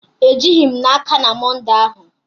Ejighị m n'aka na Mọnde ahụ